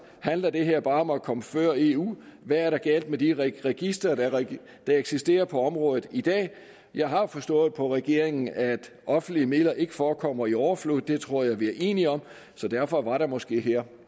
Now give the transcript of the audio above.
handler det her bare om at komme før eu hvad er der galt med de registre der eksisterer på området i dag jeg har forstået på regeringen at offentlige midler ikke forekommer i overflod det tror jeg vi er enige om så derfor var der måske her